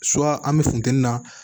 an bɛ funtɛni na